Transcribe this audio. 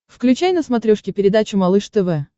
включай на смотрешке передачу малыш тв